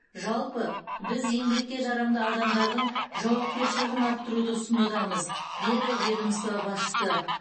жалпы біз еңбекке жарамды адамдардың жауапкершілігін арттыруды ұсынудамыз деді ведомство басшысы